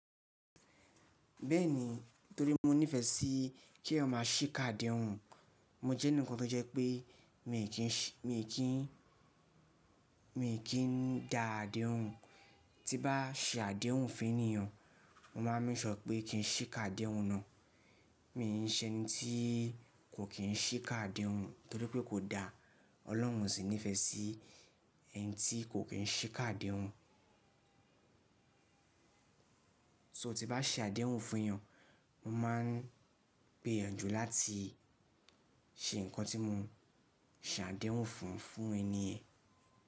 Bẹ́ẹ̀ni, torí mo nífẹ̀ẹ́ sí kí èèyàn má ṣiká adéhun. Mo jẹ́ ẹnìkan tó jẹ́ pé mi kì í da adéhun, tí bá ṣe adéhun fún ènìyàn mo máa make sure pé kí n ṣíká adéhun náà. Mi n ṣe ẹni tí kò kín ṣíká adéhun torí pé kò da. Ọlọ́run sì nífẹ̀ẹ́ sí ẹni tí kò kín ṣí ká adéhun. So tí bá ṣe adéhun fún èyàn, mo máa n pe gbìyànjú láti ṣe nǹkan tí mo ṣa adéhun fún fún ẹniyẹ̀.